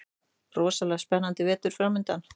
Rosalega spennandi vetur framundan